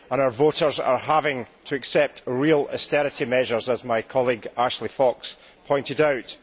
Our voters are having to accept real austerity measures, as my colleague Ashley Fox pointed out.